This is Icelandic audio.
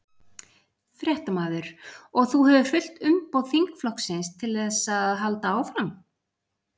Fréttamaður: Og þú hefur fullt umboð þingflokksins til þess að halda áfram?